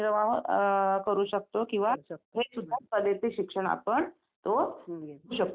तर तिथे आपण तिथे जाऊन आपण स्वतः काही व्यवसाय करू शकतो का यात्रेमध्ये जाऊन?